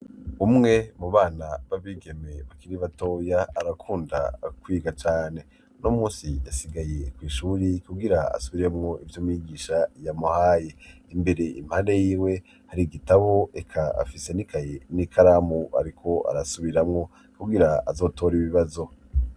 umwe mu bana babigeme bakiri batoya arakunda kwiga cane uno munsi yasigaye kw’ishuri kugira asubiremwo ivyo mwigisha yamuhaye imbere impande y'iwe hari igitabo eka afise n’ikaye n'ikaramu ariko arasubiramwo kugira azotore ibibazo